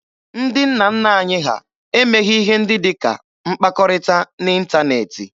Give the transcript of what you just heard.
Ndị nna nna anyị ha emeghị ihe ndị dị ka mkpakọrịta n'ịntaneetị.